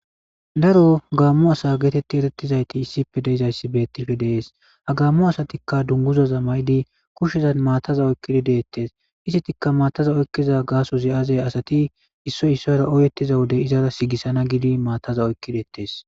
Daro gamo asa geetetetizayti issippe de'izayssi beetishe de'es ha gamo asatika dunguzaza mayidi kushezan maataza oyqidi de'etes izetikka maataza oykiza gaasozi aaze asati issoy issuwara oyetiza wode iza sigisana giidi maataza oyqi de'etes.